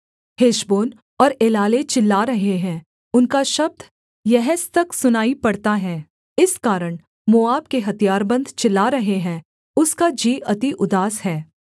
Heshbon और Elealeh चिल्ला रहे हैं उनका शब्द यहस तक सुनाई पड़ता है इस कारण मोआब के हथियारबन्द चिल्ला रहे हैं उसका जी अति उदास है